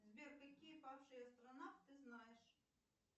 сбер какие павший астронавт ты знаешь